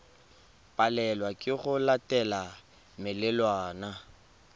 palelwa ke go latela melawana